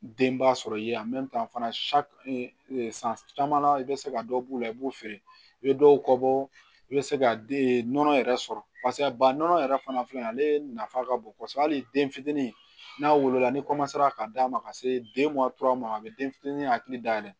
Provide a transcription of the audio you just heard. Denba sɔrɔ i ye fana san caman i bɛ se ka dɔ b'u la i b'u feere i bɛ dɔw bɔ i bɛ se ka nɔnɔ yɛrɛ sɔrɔ ba nɔnɔ yɛrɛ fana filɛ nin ye ale nafa ka bon kosɛbɛ hali den fitinin n'a wolola ni ka d'a ma ka se den ma a bɛ den fitini hakili da yɛlɛ